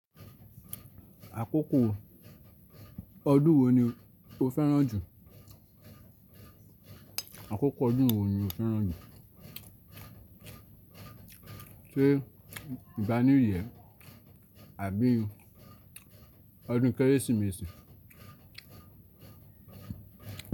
Àkókò ọdún wo ni o fẹ́ràn jù? Àkókò ọdún wo ni o fẹ́ràn jù? Ṣé ìgbà new year. Àbí ọdún Kérésìmesì?